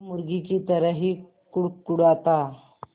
वो मुर्गी की तरह ही कुड़कुड़ाता